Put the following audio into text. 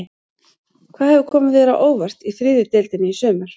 Hvað hefur komið þér á óvart í þriðju deildinni í sumar?